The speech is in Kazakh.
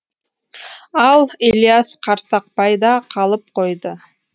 ал ілияс қарсақбайда қалып қойды